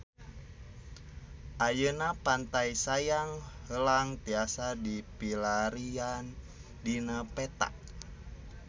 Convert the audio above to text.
Ayeuna Pantai Sayang Heulang tiasa dipilarian dina peta